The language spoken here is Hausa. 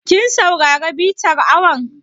Kin saurari bitar awon?